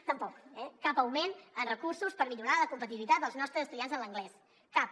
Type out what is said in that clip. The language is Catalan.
tampoc eh cap augment en recursos per millorar la competitivitat dels nostres estudiants en anglès cap